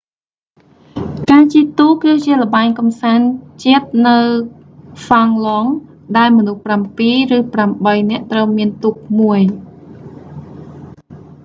ការជិះទូកគឺជាល្បែងកំសាន្តជាតិនៅហ្វាំងឡង់ finland ដែល មនុស្សប្រាំពីរ ឬ ប្រាំបីនាក់ត្រូវមានទូកមួយ